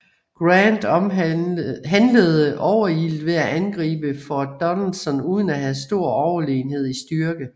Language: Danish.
Grant handlede overilet ved at angribe Fort Donelson uden at have stor overlegenhed i styrke